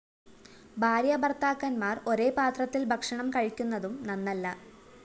ഭാര്യാ ഭര്‍ത്താക്കന്മാര്‍ ഒരേ പാത്രത്തില്‍ ഭക്ഷണം കഴിക്കുന്നതും നന്നല്ല